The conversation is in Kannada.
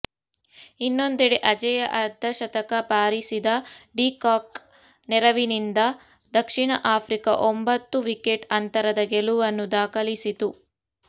ಇನ್ನೊಂದೆಡೆ ಅಜೇಯ ಅರ್ಧಶತಕ ಬಾರಿಸಿದ ಡಿ ಕಾಕ್ ನೆರವಿನಿಂದ ದಕ್ಷಿಣ ಆಫ್ರಿಕಾ ಒಂಬತ್ತು ವಿಕೆಟ್ ಅಂತರದ ಗೆಲುವನ್ನು ದಾಖಲಿಸಿತು